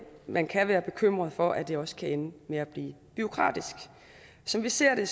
man kan være bekymret for at det også kan ende med at blive bureaukratisk som vi ser det